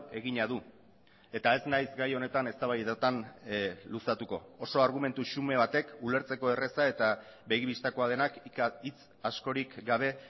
egina du eta ez naiz gai honetan eztabaidetan luzatuko oso argumentu xume batek ulertzeko erraza eta begi bistakoa denak hitz askorik gabe